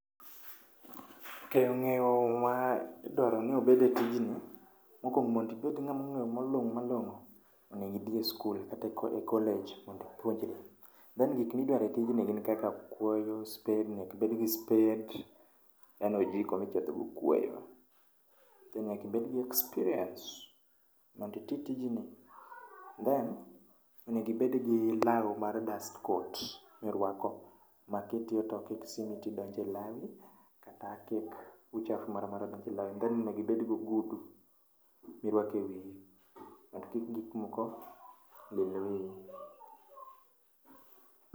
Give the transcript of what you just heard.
Ok, ngeyo madwao ni obed e tijni, mokuongo mondo ibed ngama oolony malongo malongo onego idhi e skul kata e college mondo ipuonjri. Then gik midwaro e tijni gin kuoyo, spade, nyaka ibed gi spade then ojiko michodho go kuoyo. Then nyaka ibed gi experience mondo itim tijni. Then onego ibed gi lao mar dustcoat mirwako ma kitiyo to ok donj e lawi kata kik uchafu moro amora donj e lawi, then onego ibed gi ogudu mirwako e wiyi mondo kik gik moko ohiny wiyi